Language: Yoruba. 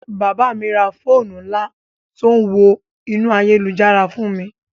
Bàbá mi ra fóònù ńlá tó ń wọ inú ayélujára fún mi